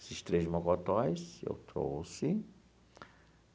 Esses três mocotós eu trouxe.